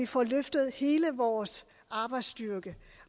får løftet hele vores arbejdsstyrke